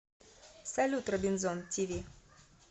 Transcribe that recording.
салют робинзон ти ви